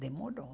Demorou.